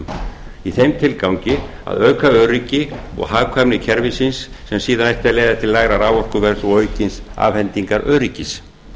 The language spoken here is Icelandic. vestfjörðum í þeim tilgangi að auka öryggi og hagkvæmni kerfisins sem síðan ætti að leiða til lægra raforkuverðs og aukins afhendingaröryggis